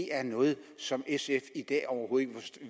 er noget som sf i dag overhovedet